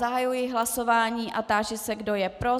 Zahajuji hlasování a táži se, kdo je pro.